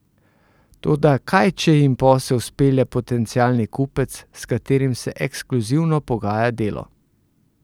Toda kaj če jim posel spelje potencialni kupec, s katerim se ekskluzivno pogaja Delo?